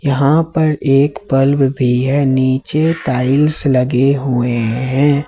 यहां पर एक बल्ब में भी है नीचे टाइल्स लगे हुए हैं।